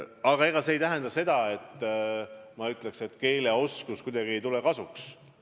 Aga see ei tähenda seda, et ma tahan öelda, et keeleoskus ei tule kasuks.